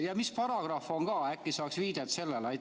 Mis paragrahv see on, äkki saaks viidet sellele?